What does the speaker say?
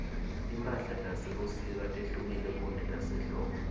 timphala tasebusika tehlukile kunetase hldbo